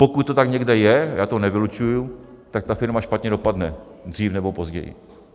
Pokud to tak někde je, já to nevylučuji, tak ta firma špatně dopadne dřív nebo později.